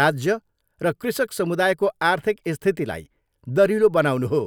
राज्य र कृषक समुदायको आर्थिक स्थितिलाई दह्रिलो बनाउनु हो।